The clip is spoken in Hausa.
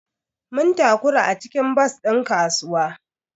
Mun takura a cikin bas din kasuwa.